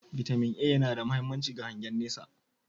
"Vitamin A" yana da mahimmanci ga hangen nesa